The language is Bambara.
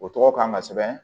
O tɔgɔ kan ka sɛbɛn